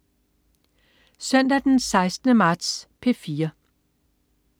Søndag den 16. marts - P4: